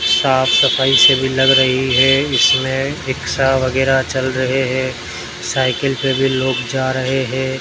साफ सफाई से भी लग रही है इसमें रिक्शा वगैरा चल रहे हैं साइकिल पर भी लोग जा रहे हैं।